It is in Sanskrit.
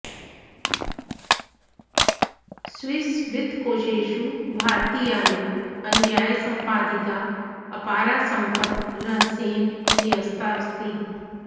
स्विस् वित्तकोशेषु भारतीयानम् अन्यायसम्पादिता अपारा सम्पत् रहस्येन न्यस्ता अस्ति